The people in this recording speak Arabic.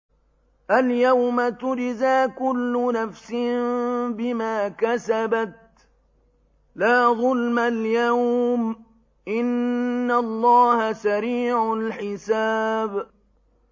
الْيَوْمَ تُجْزَىٰ كُلُّ نَفْسٍ بِمَا كَسَبَتْ ۚ لَا ظُلْمَ الْيَوْمَ ۚ إِنَّ اللَّهَ سَرِيعُ الْحِسَابِ